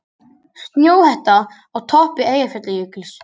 Snjóhetta á toppi Eyjafjallajökuls